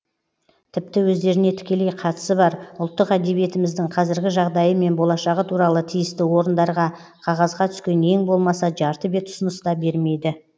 тіпті өздеріне тікелей қатысы бар ұлттық әдебиетіміздің қазіргі жағдайы мен болашағы туралы тиісті орындарға қағазға түскен ең болмаса жарты бет ұсыныс та бермейді